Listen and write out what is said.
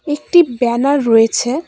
একটি ব্যানার রয়েছে।